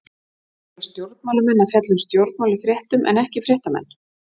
Eiga stjórnmálamenn að fjalla um stjórnmál í fréttum en ekki fréttamenn?